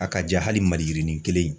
Hakaja hali Maliyirini kelen.